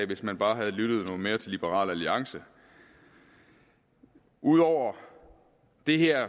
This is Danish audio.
hvis man bare havde lyttet noget mere til liberal alliance ud over det her